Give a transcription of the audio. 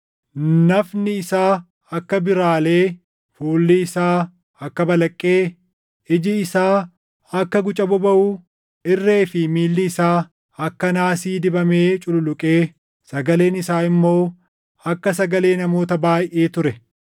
Nafni isaa akka biiralee, fuulli isaa akka balaqqee, iji isaa akka guca bobaʼuu, irree fi miilli isaa akka naasii dibamee cululuqee, sagaleen isaa immoo akka sagalee namoota baayʼee ture.